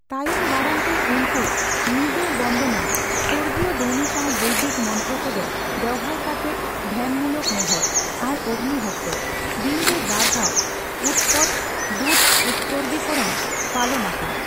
ᱛᱟᱭᱚᱢ ᱫᱟᱨᱟᱢ ᱛᱮ, ᱩᱱᱠᱩ ᱱᱤᱫᱟᱹᱵᱚᱱᱫᱚᱱᱚᱢ(ᱥᱚᱨᱜᱤᱭᱚ ᱫᱷᱚᱱᱤ ᱥᱟᱣ ᱵᱳᱫᱤᱠ ᱢᱚᱱᱛᱨᱚ ᱠᱚᱫᱚ ᱵᱮᱣᱦᱟᱨ ᱠᱟᱛᱮᱜ ᱫᱷᱮᱱᱢᱩᱞᱚᱠ ᱱᱮᱦᱚᱨ) ᱟᱨ ᱚᱜᱱᱤᱦᱚᱛᱨᱚ ( ᱫᱤᱱ ᱨᱮ ᱵᱟᱨ ᱫᱷᱟᱣ ᱩᱛᱚᱯᱛᱚ ᱫᱩᱫᱷ ᱩᱛᱥᱚᱨᱜᱨᱤ ᱠᱚᱨᱚᱱ) ᱯᱟᱞᱚᱱ ᱟᱠᱚ ᱾